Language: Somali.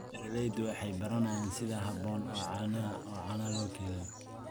Beeraleydu waxay baranayaan sida habboon ee caanaha loo kaydiyo.